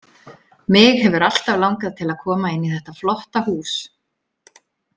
Mig hefur alltaf langað til að koma inn í þetta flotta hús